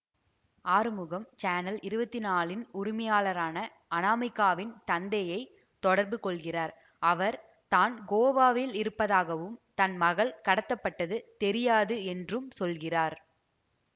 Arumugam channel இருவத்தி நாலின் உரிமையாளரான அநாமிகாவின் தந்தையை தொடர்பு கொள்கிறார் அவர் தான் கோவாவில் இருந்ததாகவும் தன் மகள் கடத்தப்பட்டது தெரியாது என்றும் சொல்கிறார்